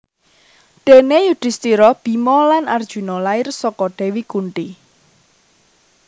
Déné Yudhistira Bima lan Arjuna lair saka Dewi Kunti